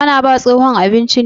Ka na ba tsohon abinci ne?